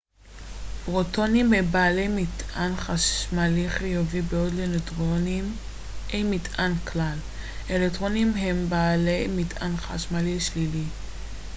פרוטונים הם בעלי מטען חשמלי חיובי בעוד לנויטרונים אין מטען כלל אלקטרונים הם בעלי מטען חשמלי שלילי